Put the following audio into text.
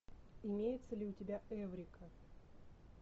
имеется ли у тебя эврика